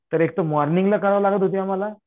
तर एक तर मॉर्निंगला करावं लागत होतं आम्हाला